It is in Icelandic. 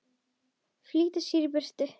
Flýta sér í burtu.